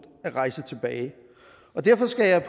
at rejse tilbage derfor skal